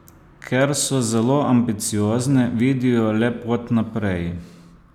Ker so zelo ambiciozne, vidijo le pot naprej.